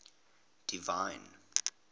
divine